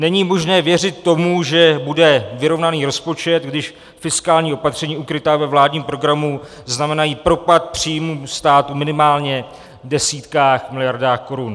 Není možné věřit tomu, že bude vyrovnaný rozpočet, když fiskální opatření ukrytá ve vládním programu znamenají propad příjmů státu minimálně v desítkách miliard korun.